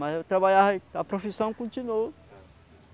Mas eu trabalhava, a profissão continuou.